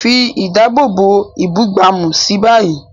Fi ìdáàbòbò ìbúgbàmù sí i báyìí.